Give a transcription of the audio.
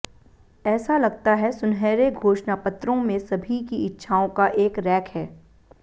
ऐसा लगता है सुनहरे घोषणापत्रों में सभी की इच्छाओं का एक रैक है